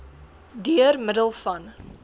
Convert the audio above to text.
deur middel van